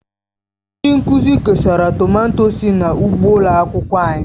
Ndị nkuzi kesara tomato sị n'ugbo ụlọ akwụkwọ.